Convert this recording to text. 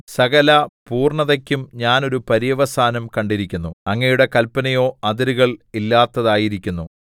സകല പൂർണ്ണതയ്ക്കും ഞാൻ ഒരു പര്യവസാനം കണ്ടിരിക്കുന്നു അങ്ങയുടെ കല്പനയോ അതിരുകള്‍ ഇല്ലാത്തതായിരിക്കുന്നു മേം